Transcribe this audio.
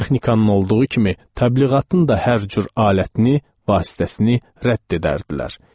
Texnikanın olduğu kimi təbliğatın da hər cür alətini, vasitəsini rədd edərdilər.